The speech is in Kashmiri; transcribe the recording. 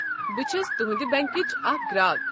بہٕ چھس تُہنٛدِ بنٛکٕچ اکھ گراك۔